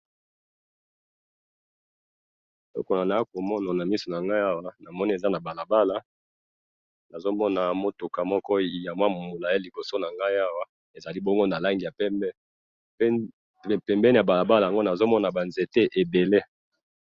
Eloko naakomona namisu nangayi awa, namoni eza nabalabala, nazomona mutuka moko yamwa mulayi liboso nangayi awa, ezalibongo nalangi ya pembe, pe pembeni yabalabala yango nazomona banzete ebele.